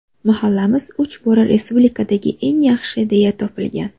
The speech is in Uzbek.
Mahallamiz uch bora respublikadagi eng yaxshi deya topilgan.